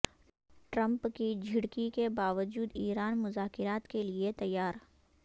Trump کی جھڑکی کے باوجود ایران مذاکرات کیلئے تیار